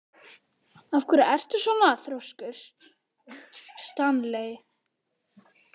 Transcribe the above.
Af hverju ertu svona þrjóskur, Stanley?